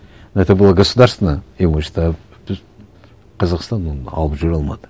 это было государственное имущество біз қазақстан оны алып жүре алмады